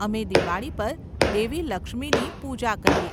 અમે દિવાળી પર દેવી લક્ષ્મીની પૂજા કરીએ.